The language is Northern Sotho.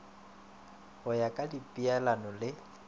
go ya ka dipeelano le